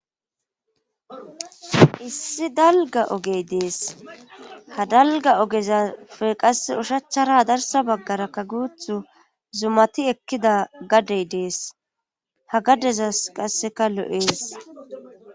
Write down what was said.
issi dalga ogey dees ha dalga ogezafe qasse ushachchara darsa baggara ka guuthu zumati ekkida gadey dees ha gaddezas qasseka lo7ees